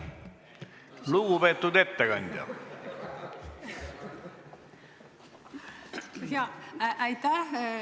Aitäh, lugupeetud istungi juhataja!